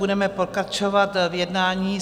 Budeme pokračovat v jednání.